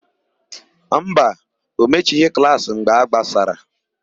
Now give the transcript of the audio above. Mba, o mechighị klaasị mgbe a gbasara.